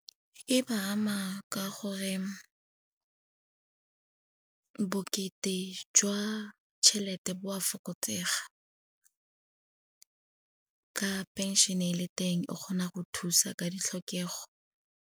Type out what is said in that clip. E ba ama ka gore bokete jwa tšhelete bo a fokotsega. Ka phenšene e le teng, e kgona go thusa ka ditlhokego.